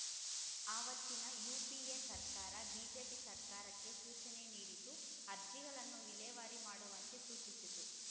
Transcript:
ಆವತ್ತಿನ ಯುಪಿಎ ಸರ್ಕಾರ ಬಿಜೆಪಿ ಸರ್ಕಾರಕ್ಕೆ ಸೂಚನೆ ನೀಡಿತ್ತು ಅರ್ಜಿಗಳನ್ನು ವಿಲೇವಾರಿ ಮಾಡುವಂತೆ ಸೂಚಿಸಿತ್ತು